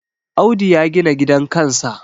Audu ya gina gidan kansa